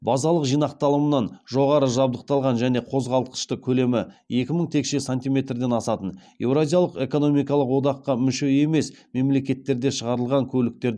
базалық жинақталымнан жоғары жабдықталған және қозғалтқышты көлемі екі мың текше сантиметрден асатын еуразиялық экономикалық одаққа мүше емес мемлекеттерде шығарылған көліктерді